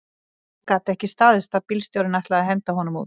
Það gat ekki staðist að bílstjórinn ætlaði að henda honum út